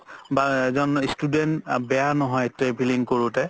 বা এজন student বেয়া নহয় traveling কৰোতে